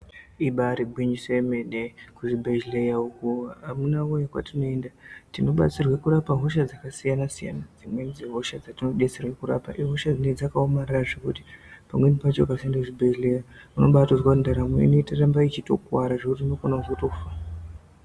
Ibari gwinyiso yemene kuzvibhedhleya uko amunawee kwatinoenda tinobatsirwe kurapa hosha dzakasiyana siyana. Dzimweni dzehosha dzatinobetserwe kurapa ihosha dzine dzakaomarara zvekuti. Pamweni pacho ukasaenda kuchibhedhlera unombatonzwa kuti ndaramo inotoramba ichitokuwara zvekuti unogona kuzotofa.